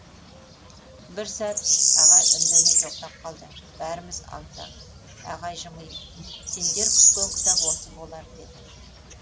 бір сәт ағай үндемей тоқтап қалды бәріміз аң таң ағай жымиып сендер күткен кітап осы болар деді